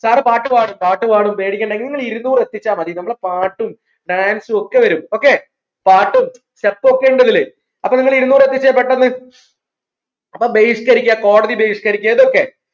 sir പാട്ടു പാടും പാട്ട് പാടും പേടിക്കേണ്ട നിങ്ങൾ ഇരുന്നൂർ എത്തിച്ചാ മതി നമ്മൾ പാട്ടും Dance സും ഒക്കെ വരും okay പാട്ടും step ഒക്കെ ഉണ്ട് ഇതില് അപ്പോ നിങ്ങൾ ഇരുന്നൂർ എത്തിച്ചേ പെട്ടെന്ന് അപ്പോ ബഹിഷ്കരിക്ക കോടതി ബഹിഷ്കരിക്ക ഇതൊക്കെ